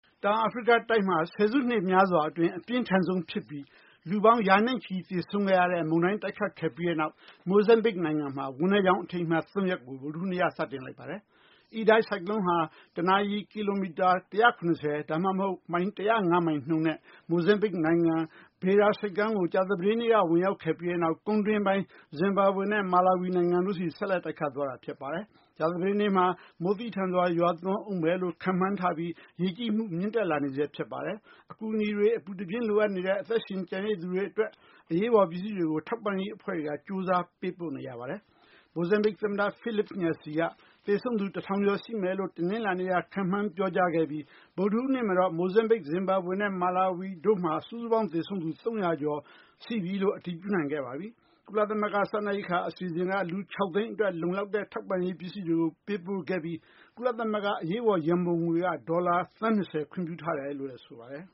တောင်အာဖရိက တိုက်မှာ ဆယ်စုနှစ် များစွာအတွင်း အပြင်းထန်ဆုံးဖြစ်ပြီး လူပေါင်း ရာနဲ့ချီ သေဆုံးခဲ့ရတဲ့ မုန်တိုင်း တိုက်ခတ်ခဲ့ပြီးနောက် မိုဇမ်းဘစ် နိုင်ငံမှာ ဝမ်းနည်းကြောင်း အထိမ်းအမှတ် သုံးရက်ကို ဗုဒ္ဓဟူးနေ့က စတင်လိုက်ပါတယ်။ Idai ဆိုင်ကလုံးဟာ တနာရီ ကီလိုမီတာ ၁၇၀ ဒါမှမဟုတ် မိုင် ၁၀၅ မိုင်နှုန်းနဲ့ မိုဇမ်းဘစ် နိုင်ငံ Beira ဆိပ်ကမ်းကို ကြာသပတေးနေ့က ဝင်ရောက်ခဲ့ပြီးတဲ့နောက် ကုန်းတွင်းပိုင်း ဇင်ဘာဘွေနဲ့ မာလာဝီ နိုင်ငံတို့ဆီ ဆက်လက် တိုက်ခတ်သွားတာ ဖြစ်ပါတယ်။ ကြာသပတေးနေ့မှာ မိုးသည်းထန်စွာ ရွာသွန်းဦးမယ်လို့ ခန့်မှန်းထားပြီး ရေကြီးမှု မြင့်တက်လာနေဆဲ ဖြစ်ပါတယ်။ အကူအညီတွေ အပူတပြင်း လိုအပ်နေတဲ့ အသက်ရှင် ကျန်ရစ်သူတွေ အတွက် အရေးပေါ် ပစ္စည်းတွေကို ထောက်ပံ့ရေး အဖွဲ့တွေက ကြိုးစားပေးပို့ နေကြပါတယ်။ မိုဇမ်းဘစ် သမ္မတ Filipe Nyusi က သေဆုံးသူ ၁,၀၀၀ ကျော် ရှိမယ်လို့ တနလာၤနေ့က ခန့်မှန်း ပြောကြားခဲ့ပြီး ဗုဒ္ဓဟူးနေ့မှာတော့ မိုဇမ်းဘစ်၊ ဇင်ဘာဘွေနဲ့ မာလာဝီ တို့မှာ စုစုပေါင်း သေဆုံးသူ ၃၀၀ ကျော် ရှိပြီလို့ အတည်ပြုနိုင်ခဲ့ပါပြီ။ ကုလသမဂ္ဂ စားနပ်ရိက္ခာ အစီအစဉ်က လူ ၆ သိန်းအတွက် လုံလောက်တဲ့ ထောက်ပံ့ရေး ပစ္စည်းတွေ ပေးပို့ခဲ့ပြီး ကုလသမဂ္ဂ အရေးပေါ် ရံပုံငွေက ဒေါ်လာ သန်း ၂၀ ခွင့်ပြုထားတယ်လို့လည်း ဆိုပါတယ်